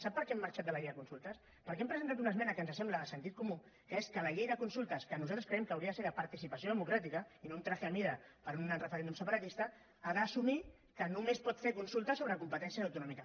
sap per què hem marxat de les llei de consultes perquè hem presentat una esmena que ens sembla de sentit comú que és que la llei de consultes que nosaltres creiem que hauria de ser de participació democràtica i no un vestit a mida per a un referèndum separatista ha d’assumir que només pot fer consultes sobre competències autonòmiques